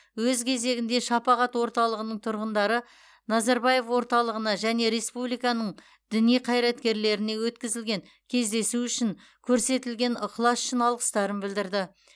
өз кезегінде шапағат орталығының тұрғындары назарбаев орталығына және республиканың діни қайраткерлеріне өткізілген кездесу үшін көрсетілген ықылас үшін алғыстарын білдірді